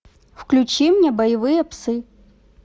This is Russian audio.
включи мне боевые псы